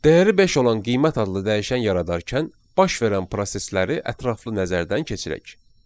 Dəyəri beş olan qiymət adlı dəyişən yaradarkən baş verən prosesləri ətraflı nəzərdən keçirək.